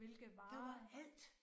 Hvilke varer